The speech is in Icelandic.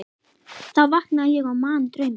Þá vaknaði ég og man drauminn.